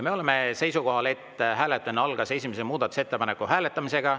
Me oleme seisukohal, et hääletamine algas esimese muudatusettepaneku hääletamisega.